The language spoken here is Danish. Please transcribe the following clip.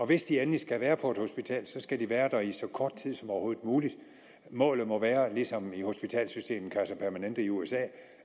hvis de endelig skal være på et hospital skal de være der i så kort tid som overhovedet muligt målet må være ligesom i hospitalssystemet kaiser permanente i usa